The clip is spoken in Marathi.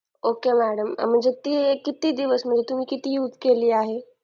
okay madam म्हणजे ती किती दिवस म्हणजे तुम्ही किती use केली आहे